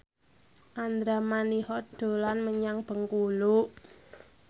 Andra Manihot dolan menyang Bengkulu